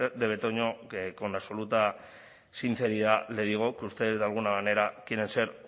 de betoño con absoluta sinceridad le digo que ustedes de alguna manera quieren ser